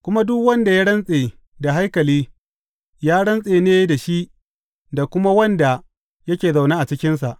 Kuma duk wanda ya rantse da haikali, ya rantse ne da shi da kuma wanda yake zaune a cikinsa.